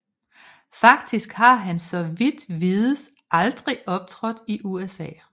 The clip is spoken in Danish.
Faktisk har han så vidt vides aldrig optrådt i USA